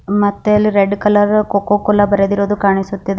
ಮತ್ತೆ ಅಲ್ಲಿ red colour co co Cola ಬರೆದಿರೋದು ಕಾಣಿಸುತ್ತಿದೆ.